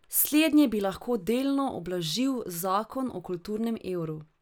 Slednje bi lahko delno ublažil zakon o kulturnem evru.